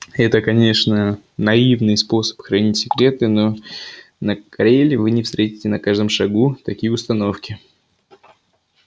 это конечно наивный способ хранить секреты но на кореле вы не встретите на каждом шагу такие установки